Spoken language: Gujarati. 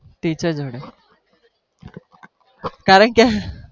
teacher જોડે કારણ કે